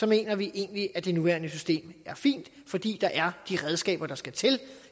mener vi egentlig at det nuværende system er fint fordi der er de redskaber der skal til